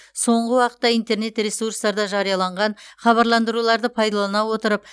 соңғы уақытта интернет ресурстарда жарияланған хабарландыруларды пайдалана отырып